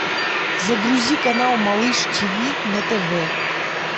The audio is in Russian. загрузи канал малыш тв на тв